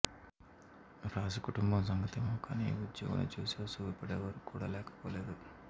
రాజకుటుంబం సంగతేమో కానీ ఈ ఉద్యోగిని చూసి అసూయపడేవారు కూడా లేకపోలేదు